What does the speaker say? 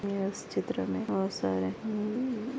इस चित्र मे बहुत सारे --